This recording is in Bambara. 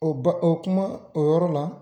O bɛ o kuma , o yɔrɔ la